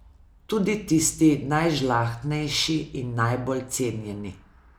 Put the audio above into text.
Tudi tisti najžlahtnejši in najbolj cenjeni.